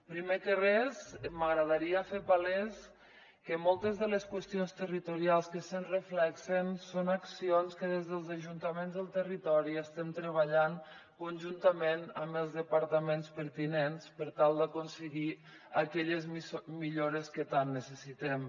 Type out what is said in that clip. primer que res m’agradaria fer palès que moltes de les qüestions territorials que s’hi reflecteixen són accions que des dels ajuntaments del territori hi estem treba·llant conjuntament amb els departaments pertinents per tal d’aconseguir aquelles millores que tant necessitem